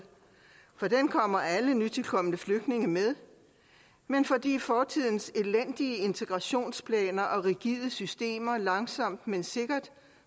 for den kommer alle nytilkomne flygtninge med men fordi fortidens elendige integrationsplaner og rigide systemer langsomt men sikkert